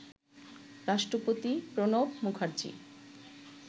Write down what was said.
রাষ্ট্রপতি প্রণব মুখার্জী